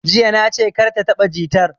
Jiya na ce 'Kar ka taɓa jitar'!